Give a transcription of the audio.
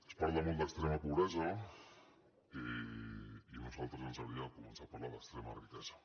es parla molt d’extrema pobresa i a nosaltres ens agradaria començar a parlar d’extrema riquesa